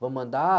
Vamos andar?